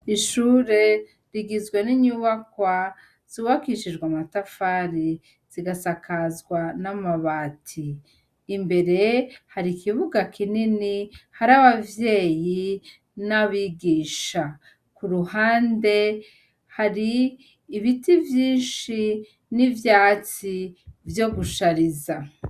Ishure rigizwe n'inyubakwa zubakishijwe amatafari zigasakazwa n'amabati, imbere hari ikibuga kinini, hari abavyeyi n'abigisha, k'uruhande hari ibiti vyinshi n'ivyatsi vyo gushariza.